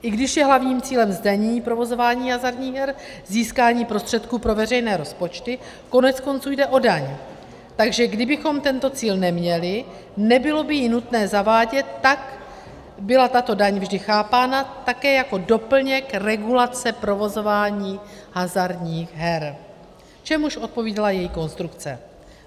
I když je hlavním cílem zdanění provozování hazardních her získání prostředků pro veřejné rozpočty, koneckonců jde o daň, takže kdybychom tento cíl neměli, nebylo by ji nutné zavádět, a tak byla tato daň vždy chápána také jako doplněk regulace provozování hazardních her, čemuž odpovídala její konstrukce.